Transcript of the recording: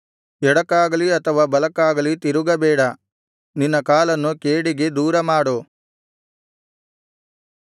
ಎಡಕ್ಕಾಗಲಿ ಅಥವಾ ಬಲಕ್ಕಾಗಲಿ ತಿರುಗಬೇಡ ನಿನ್ನ ಕಾಲನ್ನು ಕೇಡಿಗೆ ದೂರಮಾಡು